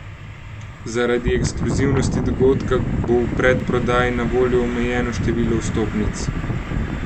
Zaradi ekskluzivnosti dogodka bo v predprodaji na voljo omejeno število vstopnic.